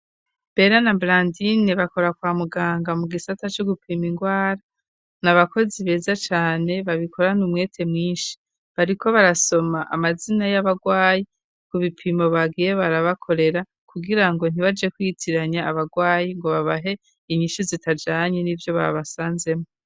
Bera na brandine bakora kwa muganga mu gisata c' gupima ingwara ni abakozi beza cane babikorana umwete mwinshi bari ko barasoma amazina y'abarwayi ku bipimo bagiye barabakorera kugira ngo ntibaje kwitiranya abarwayi ngo babahe inyishu zitajanye n'ivyo babasanzemo.